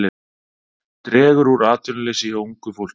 Dregur úr atvinnuleysi hjá ungu fólki